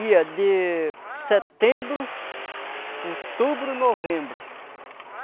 Ia de setembro, outubro, novembro.